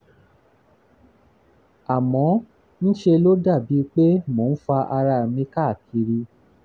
àmọ́ ń ṣe ló dàbí pé mò ń fa ara mi káàkiri